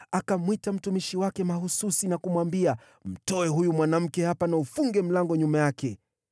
Akamwita mtumishi wake mahsusi na kumwambia, “Mtoe huyu mwanamke hapa na ufunge mlango nyuma yake.”